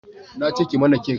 na ce ki mana kek